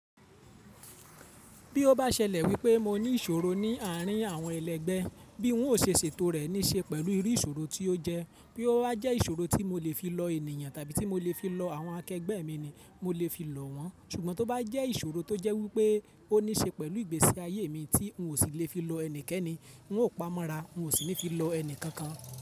Bí ó bá ṣẹlẹ̀ wípé mo ní ìṣòro ní àárín àwọn ẹlẹgbẹ́, bí n ó ṣe ètò rẹ̀ ní ṣe pẹ̀lú irú ìṣòro tí ó jẹ́. Bí ó bá jẹ́ ìṣòro tí mo lè fi lọ ènìyàn tàbí tí mo lè fi lọ àwọn akẹgbẹ́ mi ni, mo lè fi lọ wọ́n. Ṣùgbọ́n tó bá jẹ́ ìṣòro tó jẹ́ wípé ó ní ṣe pẹ̀lú ìgbésí ayé mi tí n ò sì lè fi lọ ẹnikẹ́ni, n ò pamọ́ra, n ò sì ní fi lọ ẹni kankan.